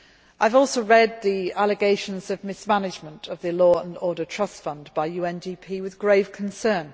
I have read the allegations of mismanagement of the Law and Order Trust Fund by UNDP with grave concern.